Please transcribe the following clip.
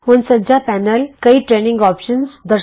ਹੁਣ ਸੱਜਾ ਪੈਨਲ ਕਈ ਟਰੇਨਿੰਗ ਵਿਕਲਪ ਦਰਸ਼ਾਉਂਦਾ ਹੈ